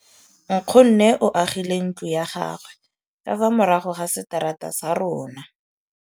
Nkgonne o agile ntlo ya gagwe ka fa morago ga seterata sa rona.